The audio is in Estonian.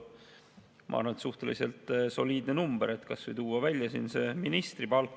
Ma arvan, et suhteliselt soliidne number, kui kas või tuua välja ministri palk.